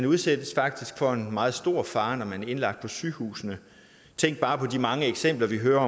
udsættes for en meget stor fare når man er indlagt på sygehusene tænk bare på de mange eksempler vi hører